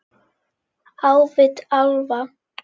Á vit álfa